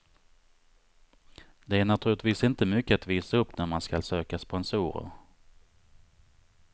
Det är naturligtvis inte mycket att visa upp när man skall söka sponsorer.